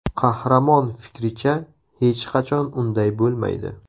Qahramon fikricha, hech qachon unday bo‘lmaydi.